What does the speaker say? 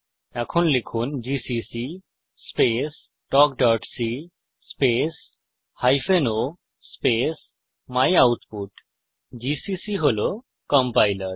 এখন লিখুন GCC space talkসি space hyphen o space my output GCC হল কম্পাইলার